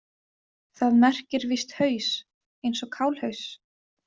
Það merkir víst haus, eins og kálhaus.